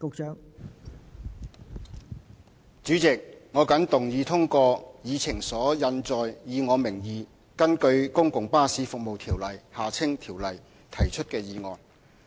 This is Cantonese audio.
代理主席，我謹動議通過議程所印載，以我名義根據《公共巴士服務條例》提出的議案。